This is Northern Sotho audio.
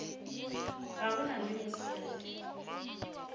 ga go na le mosadi